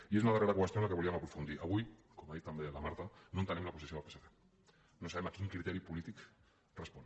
i és una darrera qüestió en què volíem aprofundir avui com ha dit també la marta no entenem la posició del psc no sabem a quin criteri polític respon